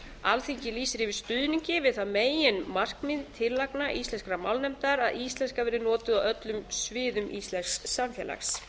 alþingi lýsir yfir stuðningi við það meginmarkmið tillagna íslenskrar málnefndar að íslenska verði notuð á öllum sviðum íslensks samfélags